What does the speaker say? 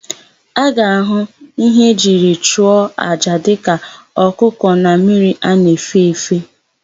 A ga-ahụ íhé e jiri chụọ àjà dịka ọkụkọ na mmiri a na-efe efe.